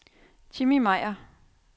Jimmi Meier